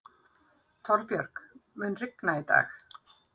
Torbjörg, mun rigna í dag?